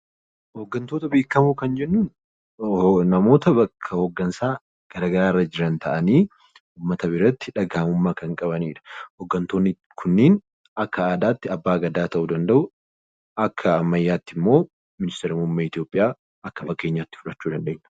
Hoggantoota beekamoo kan jennuun namoota bakka hoggansaa garaa garaa irra jiran ta'anii, uummata biratti dhagahamummaa kan qabani dha. Hoggantoonni kunniin akka Aadaa tti Abbaa Gadaa ta'uu danda'uu. Akka ammayyaa tti immoo Ministeera muummee Itiyoophiyaa akka fakkeenyaa tti fudhachuu dandeenya.